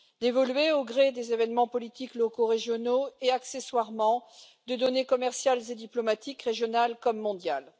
Évoluer au gré des événements politiques locaux, régionaux et, accessoirement, de données commerciales et diplomatiques régionales comme mondiales.